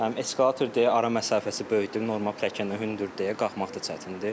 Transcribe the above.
Həm eskalator deyə ara məsafəsi böyükdür, normal pilləkən də hündürdür deyə qalxmaq da çətindir.